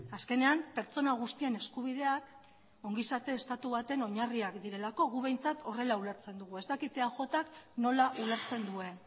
azkenean pertsona guztien eskubideak ongizate estatu baten oinarriak direlako gu behintzat horrela ulertzen dugu ez dakit eajk nola ulertzen duen